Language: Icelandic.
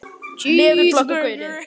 Síðari spurningin er